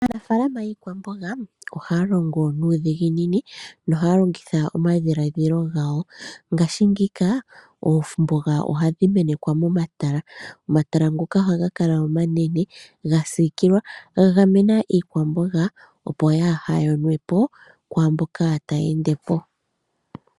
Aamafala yii kwamboga, ohaya longo nuudhiginini, no haya longitha omadhiladhilo gayo. Ngaashi ngeyika oomboga ohadhi menethwa mo matala. Omatala ngoka ohaga kala omanene ga siikilwa, ga gamena iikwamboga opo yaa haya nepo kwaamboka taya endepo.